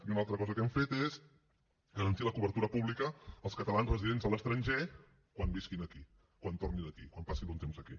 i una altra cosa que hem fet és garantir la cobertura pública als catalans residents a l’estranger quan visquin aquí quan tornin aquí quan passin un temps aquí